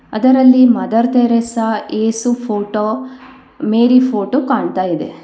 ಅದರಲ್ಲಿ mother Teresa ಯೇಸು photo Mary photo ಕಾಣ್ತಾ ಇದೆ.